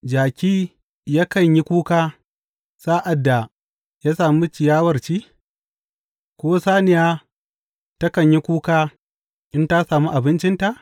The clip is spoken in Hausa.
Jaki yakan yi kuka sa’ad da ya sami ciyawar ci, ko saniya takan yi kuka in ta sami abincinta?